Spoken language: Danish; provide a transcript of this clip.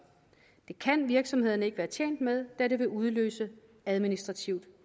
det kan virksomhederne ikke være tjent med da det vil udløse administrativt